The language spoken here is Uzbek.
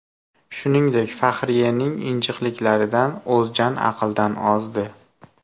Shuningdek, Fahriyening injiqliklaridan O‘zjan aqldan ozdi.